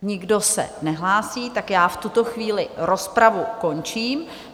Nikdo se nehlásí, tak já v tuto chvíli rozpravu končím.